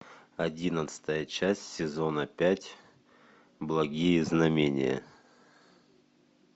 одиннадцатая часть сезона пять благие знамения